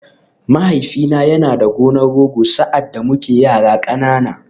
Mahaifina yana da gonar Rogo sa’ad da muke yara ƙanana.